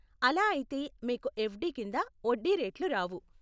అలా అయితే మీకు ఎఫ్డీ కింద వడ్డీ రేట్లు రావు.